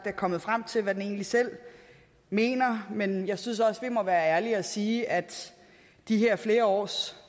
er kommet frem til hvad den egentlig selv mener men jeg synes også at vi må være ærlige og sige at de her flere års